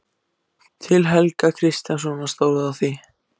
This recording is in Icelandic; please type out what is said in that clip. Til Helga kristjánssonar, stóð á því.